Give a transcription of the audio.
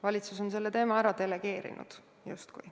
Valitsus on selle teema justkui ära delegeerinud.